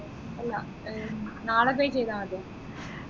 ആഹ് ഇല്ല നാളെ pay ചെയ്ത മതിയോ